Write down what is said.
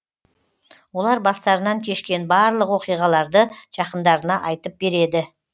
олар бастарынан кешкен барлық оқиғаларды жақындарына айтып береді